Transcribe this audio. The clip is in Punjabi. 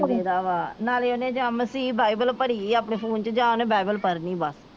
ਕੀ ਨਾ ਲਈ ਦਾ ਵਾ ਨਾਲੇ ਉਹਨੇ ਬਾਈਬਲ ਭਰੀ ਆ ਆਪਣੇ ਫੋਨ ਚ ਜਾ ਉਹਨੇ ਬਾਈਬਲ ਪੜਨੀ ਬੱਸ।